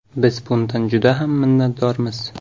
Biz bundan juda ham minnatdormiz.